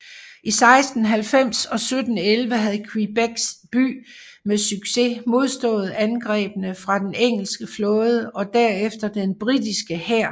I 1690 og 1711 havde Quebec By med succes modstået angrebene fra den engelske flåde og derefter den britiske hær